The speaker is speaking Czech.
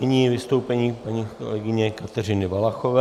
Nyní vystoupení paní kolegyně Kateřiny Valachové.